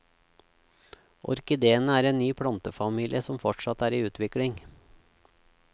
Orkidéene er en ny plantefamilie som fortsatt er i utvikling.